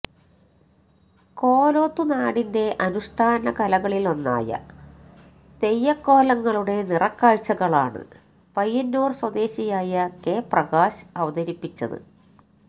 കോലത്തുനാടിന്റെ അനുഷ്ഠാന കലകളിലൊന്നായ തെയ്യക്കോലങ്ങളുടെ നിറക്കാഴ്ചകളാണ് പയ്യന്നൂര് സ്വദേശിയായ കെ പ്രകാശ് അവതരിപ്പിച്ചത്